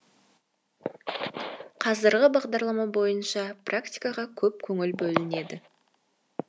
қазіргі бағдарлама бойынша практикаға көп көңіл бөлінеді